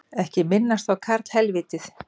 Ekki minnast á karlhelvítið